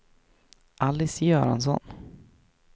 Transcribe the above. Alice Göransson